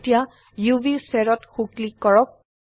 এতিয়া UV sphere ত সো ক্লিক কৰক